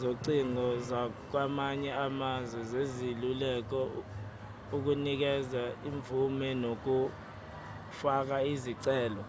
zocingo zakwamanye amazwe zesiluleko/ukunikeza imvume nokufaka izicelo